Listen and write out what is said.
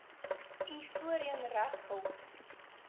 u voorheen regshulp